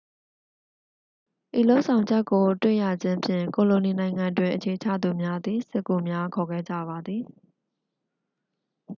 ဤလုပ်ဆောင်ချက်ကိုတွေ့ရခြင်းဖြင့် ကိုလိုနီနိုင်ငံတွင်အခြေချသူများသည် စစ်ကူများခေါ်ခဲ့ကြပါသည်